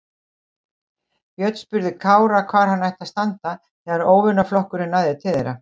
Björn spurði Kára hvar hann ætti að standa þegar óvinaflokkurinn næði til þeirra.